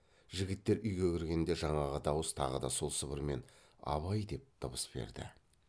жігіттер үйге кіргенде жаңағы дауыс тағы сол сыбырмен абай деп дыбыс берді